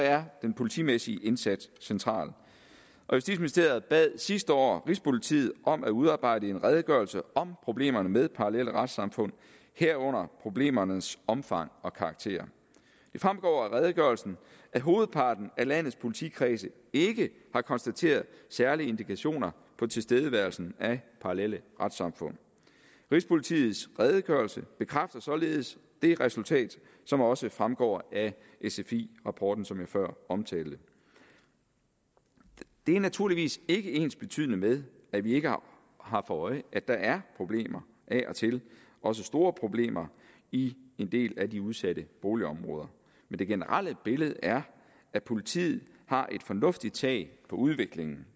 er den politimæssige indsats central justitsministeriet bad sidste år rigspolitiet om at udarbejde en redegørelse om problemerne med parallelle retssamfund herunder problemernes omfang og karakter det fremgår af redegørelsen at hovedparten af landets politikredse ikke har konstateret særlige indikationer på tilstedeværelsen af parallelle retssamfund rigspolitiets redegørelse bekræfter således det resultat som også fremgår af sfi rapporten som jeg før omtalte det er naturligvis ikke ensbetydende med at vi ikke har for øje at der er problemer af og til også store problemer i en del af de udsatte boligområder men det generelle billede er at politiet har et fornuftigt tag på udviklingen